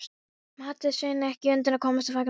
Mátti Sveinn ekki undan komast fagnaðarlátum hans.